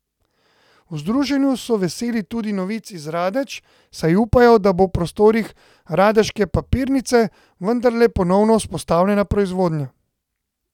V združenju so veseli tudi novic iz Radeč, saj upajo, da bo v prostorih radeške papirnice vendarle ponovno vzpostavljena proizvodnja.